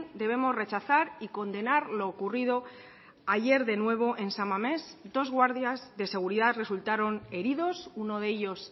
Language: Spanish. debemos rechazar y condenar lo ocurrido ayer de nuevo en san mamés dos guardias de seguridad resultaron heridos uno de ellos